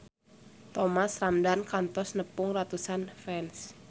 Thomas Ramdhan kantos nepungan ratusan fans